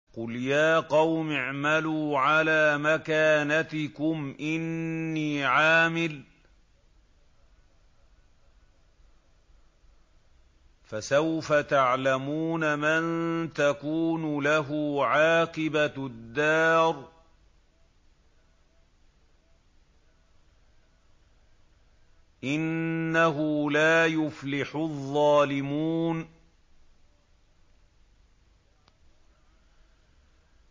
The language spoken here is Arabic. قُلْ يَا قَوْمِ اعْمَلُوا عَلَىٰ مَكَانَتِكُمْ إِنِّي عَامِلٌ ۖ فَسَوْفَ تَعْلَمُونَ مَن تَكُونُ لَهُ عَاقِبَةُ الدَّارِ ۗ إِنَّهُ لَا يُفْلِحُ الظَّالِمُونَ